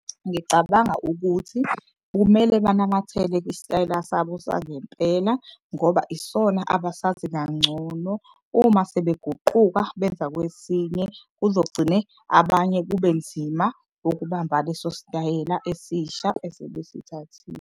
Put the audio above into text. Ngicabanga ukuthi kumele banamathele kwisitayela sabo sangempela ngoba isona abasazi kangcono. Uma sebeguquka beza kwesinye kuzogcine abanye kube nzima ukubamba leso sitayela esisha esebesithathile.